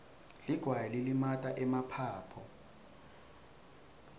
ligwayi lilimata emaphaphu